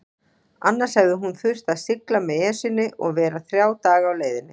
Annars hefði hún þurft að sigla með Esjunni og vera þrjá daga á leiðinni.